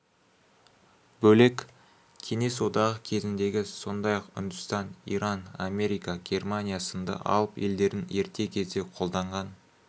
бөлек кеңес одағы кезіндегі сондай-ақ үндістан иран америка германия сынды алып елдердің ерте кезде қолданған